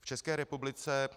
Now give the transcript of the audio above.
V České republice